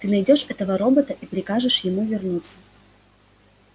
ты найдёшь этого робота и прикажешь ему вернуться